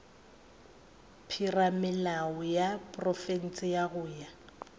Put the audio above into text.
theramelao ya profense go ya